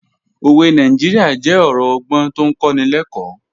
Òwe Nàìjíríà jẹ́ ọ̀rọ̀ ọgbọ́n tó ń kọ́ni lẹ́kọ̀ọ́